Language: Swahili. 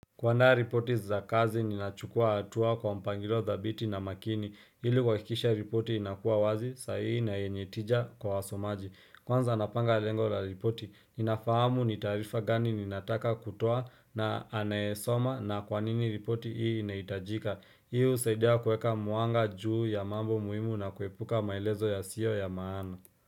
Kuaanda ripoti za kazi ninachukua hatua kwa mpangilo dhabiti na makini ili kuhakikisha ripoti inakuwa wazi sahihi na yenye tija kwa wasomaji kwanza napanga lengo la ripoti ninafahamu ni tarifa gani ninataka kutoa na anayesoma na kwa nini ripoti hii inahitajika hii husaidia kueka mwanga juu ya mambo muhimu na kuepuka maelezo yasio ya maana.